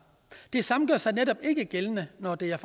det samme gør sig netop ikke gældende når det er